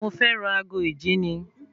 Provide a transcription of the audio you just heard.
Mo fẹ́ ra ago ìjíni